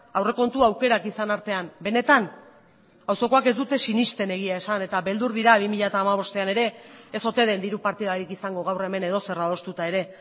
aurrekontu aukerak izan artean benetan auzokoak ez dute sinesten egia esan eta beldur dira bi mila hamabostean ere ez ote den diru partidarik izango gaur hemen edozer adostuta ere